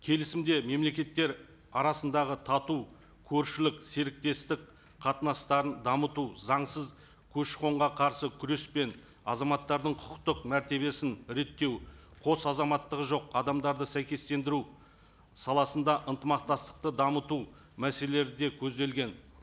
келісімде мемлекеттер арасындағы тату көршілік серіктестік қатынастарын дамыту заңсыз көші қонға қарсы күреспен азаматтардың құқықтық мәртебесін реттеу қос азаматтығы жоқ адамдарды сәйкестендіру саласында ынтымақтастықты дамыту мәселелері де көзделген